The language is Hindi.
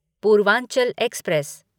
पूर्वांचल एक्सप्रेस